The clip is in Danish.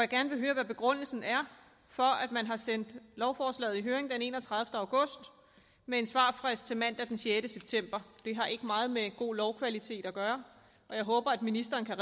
gerne høre hvad begrundelsen er for at man sendte lovforslaget i høring den enogtredivete august med en svarfrist til mandag den sjette september det har ikke meget med god lovkvalitet at gøre og jeg håber ministeren kan